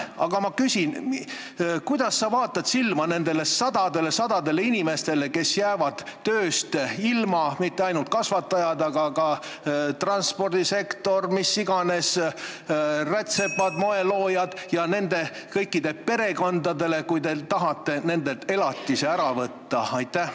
Aga kuidas sa vaatad silma nendele sadadele-sadadele inimestele, kes jäävad tööst ilma – need ei ole mitte ainult karusloomakasvatajad, vaid ka töötajad transpordisektoris ja kus iganes, rätsepad, moeloojad –, ja nende kõikide perekondadele, kui te tahate nendelt elatise ära võtta?